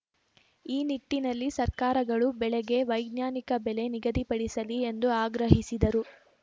ಈ ನಿಟ್ಟಿನಲ್ಲಿ ಸರ್ಕಾರಗಳು ಬೆಳೆಗೆ ವೈಜ್ಞಾನಿಕ ಬೆಲೆ ನಿಗದಿಪಡಿಸಲಿ ಎಂದು ಆಗ್ರಹಿಸಿದರು